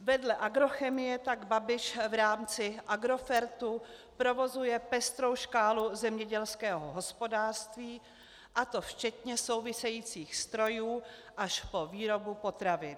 Vedle agrochemie tak Babiš v rámci Agrofertu provozuje pestrou škálu zemědělského hospodářství, a to včetně souvisejících strojů, až po výrobu potravin.